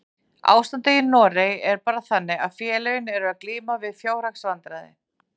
Ástandið í Noregi er bara þannig að félögin eru að glíma við fjárhagsvandræði.